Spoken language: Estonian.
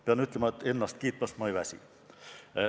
Pean ütlema, et ennast kiitmast ma ei väsi.